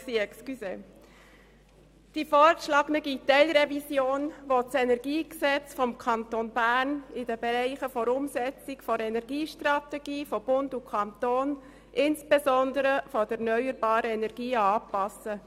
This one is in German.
Die vorgeschlagene Teilrevision will das KEnG insbesondere bezüglich erneuerbarer Energien aufgrund der Energiestrategie von Bund und Kanton anpassen.